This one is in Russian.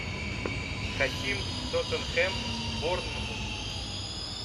хотим тоттенхэм борнмут